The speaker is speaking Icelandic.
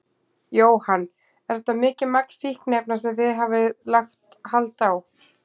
Jóhann: Er þetta mikið magn fíkniefna sem þið hafið lagt hald á?